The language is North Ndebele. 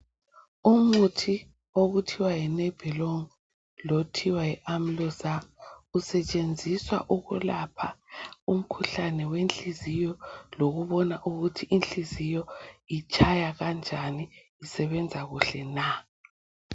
Umuthi okuthiwa yi Nebilong lothiwa yi Amlozaar usetshenziswa ukulapha umkhuhlane wenhliziyo lokubona ukuthi inhliziyo itshaya kanjani, isebenza kuhle na.